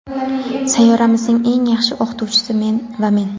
Sayyoramizning eng yaxshi o‘qituvchisi va men.